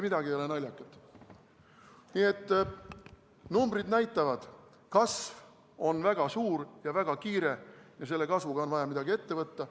Nii et numbrid näitavad: kasv on väga suur ja väga kiire ja selle kasvuga on vaja midagi ette võtta.